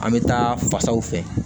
An bɛ taa fasaw fɛ